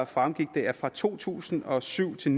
fremgik det at fra to tusind og syv til